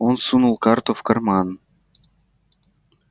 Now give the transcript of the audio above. он сунул карту в карман